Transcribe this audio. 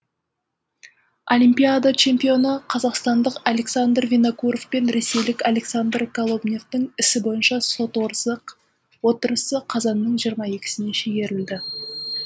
олимпиада чемпионы қазақстандық александр винокуров пен ресейлік александр колобневтың ісі бойынша сот отырысы қазанның жиырма екісіне шегерілді